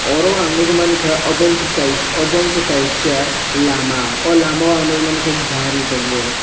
oro ang nogoi mangka obo wngka kaisa obo wngka kaisa lama o lama ang nogoi mangka gari tongo.